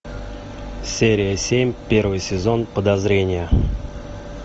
серия семь первый сезон подозрение